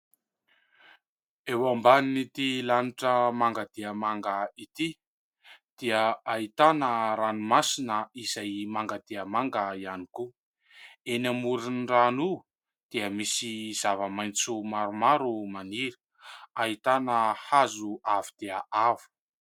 Eo ambaniny ity lanitra manga dia manga ity dia ahitana ranomasina izay manga dia manga ihany koa. Eny amoron-drano io dia misy zava-maitso maromaro maniry ; ahitana hazo avo dia avo.